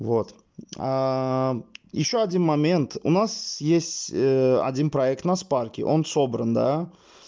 вот ещё один момент у нас есть один проект на спарке он собран да